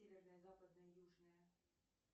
северная западная южная